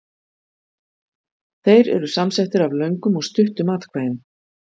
Þeir eru samsettir af löngum og stuttum atkvæðum.